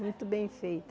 Muito bem feita.